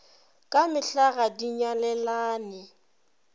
ka mehla ga di nyalelane